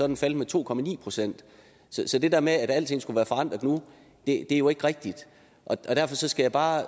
den faldet med to procent så det der med at alting skulle være forandret nu er jo ikke rigtigt derfor skal jeg bare